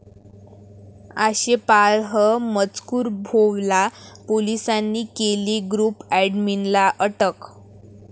आक्षेपार्ह मजकूर भोवला, पोलिसांनी केली ग्रुप अॅडमिनला अटक